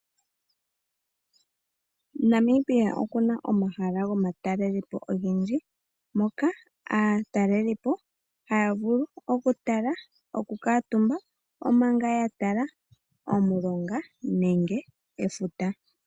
Namibia oku na omahala gomatalelepo ogendji moka aatalelipo haya vulu okutala, okukuutumba, omanga ya tala omulonga nenge efuta.